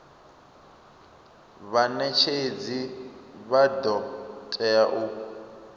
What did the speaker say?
vhanetshedzi vha do tea u